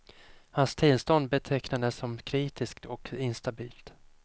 Hans tillstånd betecknades som kritiskt och instabilt.